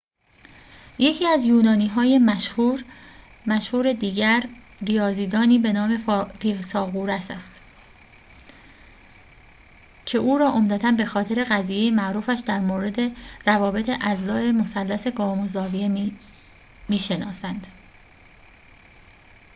یکی از یونانی‌های مشهور دیگر ریاضی‌دانی به نام فیثاغورس است که او را عمدتاً به‌خاطر قضیه معروفش در مورد روابط اضلاع مثلث قائم‌الزاویه می‌شناسند